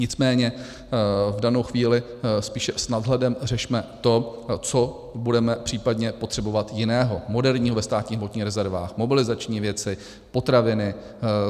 Nicméně v danou chvíli spíše s nadhledem řešme to, co budeme případně potřebovat jiného, moderního ve státních hmotných rezervách, mobilizační věci, potraviny.